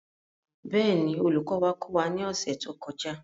Bẹ́ẹ̀ ni, olùkọ́ wa kọ́ wa ní ọ̀sẹ̀ tó kọjá.